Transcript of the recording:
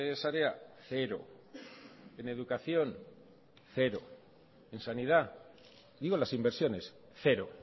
sarea cero en educación cero en sanidad digo las inversiones cero